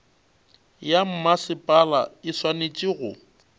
ya mmasepala e swanetše go